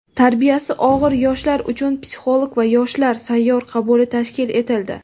tarbiyasi og‘ir yoshlar uchun "Psixolog va yoshlar" sayyor qabuli tashkil etildi.